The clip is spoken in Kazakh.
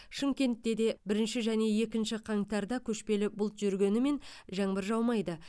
шымкентте де бірінші және екінші қаңтарда көшпелі бұлт жүргенімен жаңбыр жаумайды